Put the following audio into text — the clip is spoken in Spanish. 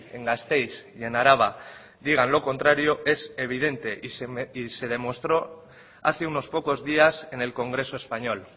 en gasteiz y en araba digan lo contrario es evidente y se demostró hace unos pocos días en el congreso español